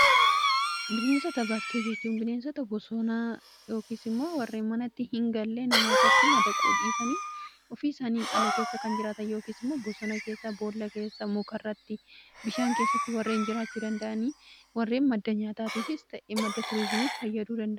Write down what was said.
bineensota bakkee jechuun bineensota bosoonaa yookiis immoo warree manatti hingallee nama irratti madaquu dhiisanii ofii isaaniin ala keessa kan jiraata yookiis immoo bosoona keessa, bool'a keessa muka irratti, bishaan keessatti warreen jiraachuu danda'anii warreen madda nyaataatiifis ta'ee madda tuurizimiif fayyadanidha.